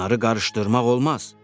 Bunları qarışdırmaq olmaz.